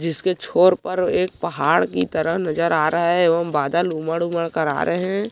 जिसके छोर पर एक पहाड़ की तरह नजर आ रहा है एवं बादल उमड़ उमड़ कर आ रहे है।